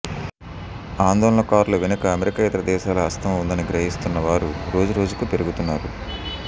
ఆందోళనకారుల వెనుక అమెరికా ఇతర దేశాల హస్తం వుందని గ్రహిస్తున్న వారు రోజు రోజుకూ పెరుగుతున్నారు